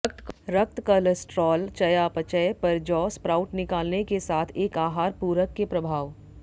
रक्त कोलेस्ट्रॉल चयापचय पर जौ स्प्राउट निकालने के साथ एक आहार पूरक के प्रभाव